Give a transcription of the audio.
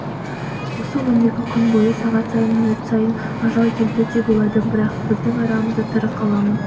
осы он екі күн бойы сағат сайын минөт сайын ажал келді деп ойладым бірақ біздің арамызда тірі қаламын